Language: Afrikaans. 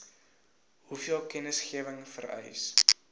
hoeveel kennisgewing vereis